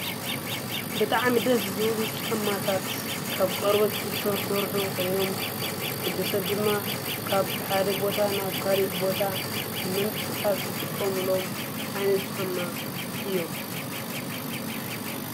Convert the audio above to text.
በጥዓ ምደስ ዝብሉ ጫማታት ካብ ቈርበትትሠሠርኁ ኾይኖም ዉዲ ሰብ ድማ ካብ ሓደ ቦታ ናብ ካሊ ቦታ ንመንቅስቃትስ ዘትቆምሎም ኣይነት ጫማ እዮም።